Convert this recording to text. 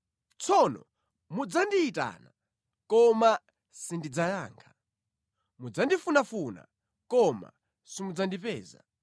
“Tsono mudzandiyitana koma sindidzayankha; mudzandifunafuna, koma simudzandipeza.